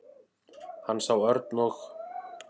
Hann sá Örn og